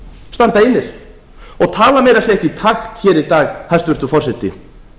standa einir og tala meira að segja ekki í takt hér í dag hæstvirtur forseti